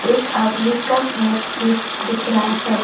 एक आदमी का हाथ भी दिख रहा है।